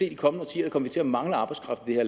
i de kommende årtier kommer til at mangle arbejdskraft i det